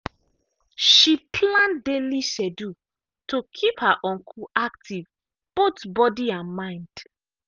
she plan daily schedule to keep her uncle active both body and mind.